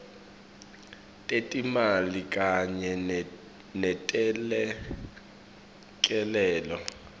tetimali kanye netelekelelo